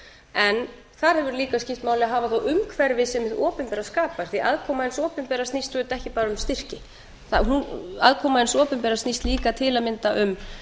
en þar hefur líka skipt máli að hafa þá umhverfi sem hið opinbera skapar því að aðkoma hins opinbera snýst auðvitað ekki bara um styrki aðkoma hins opinbera snýst líka til að mynda um